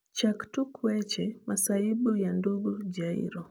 chak tuk wech masaibu ya ndugu jairo